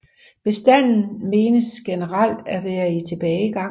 Bestanden menes generelt at være i tilbagegang